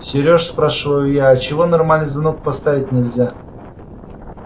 сереж спрашиваю я а чего нормальный звонок поставить нельзя